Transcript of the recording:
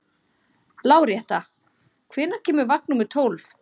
Láretta, hvenær kemur vagn númer tólf?